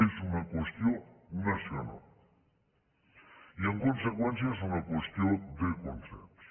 és una qüestió nacional i en conseqüència és una qüestió de consens